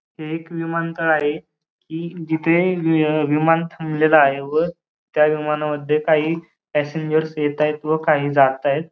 हे एक विमानतळ आहे की जिथे विमान थांबलेलं आहे व त्या विमानामध्ये काही पैसेंजरस येतायत व काही जातायत.